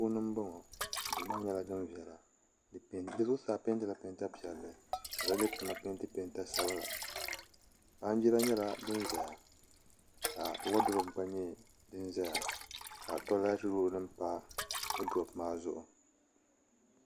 Duu puuni n bɔŋɔ duu maa nyɛla din viɛla di zuɣusaa peentila peenta piɛlli ka gbunni maa peenti peenta sabinli baanjira nyɛla din ʒɛya ka woodurop gba nyɛ din ʒɛya ka toolɛt rool nim pa bi tooni maa zuɣu